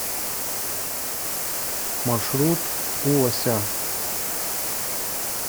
маршрут у лося